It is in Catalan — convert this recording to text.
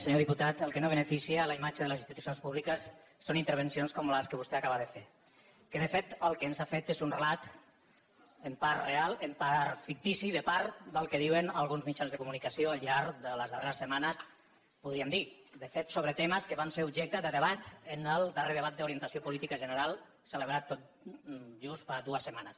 senyor diputat el que no beneficia la imatge de les institucions públiques són intervencions com la que vostè acaba de fer que de fet el que ens ha fet és un relat en part real en part fictici de part del que diuen alguns mitjans de comunicació al llarg de les darreres setmanes podríem dir de fet sobre temes que van ser objecte de debat en el darrer debat d’orientació política general celebrat tot just fa dues setmanes